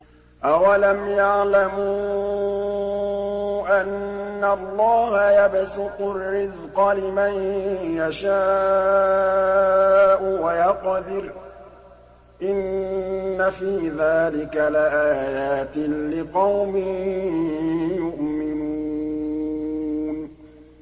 أَوَلَمْ يَعْلَمُوا أَنَّ اللَّهَ يَبْسُطُ الرِّزْقَ لِمَن يَشَاءُ وَيَقْدِرُ ۚ إِنَّ فِي ذَٰلِكَ لَآيَاتٍ لِّقَوْمٍ يُؤْمِنُونَ